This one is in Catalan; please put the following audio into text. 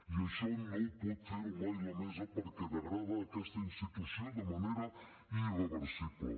i això no pot fer ho mai la mesa perquè degrada aquesta institució de manera irreversible